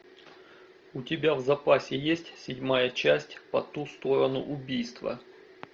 у тебя в запасе есть седьмая часть по ту сторону убийства